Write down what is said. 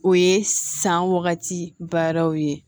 O ye san wagati baaraw ye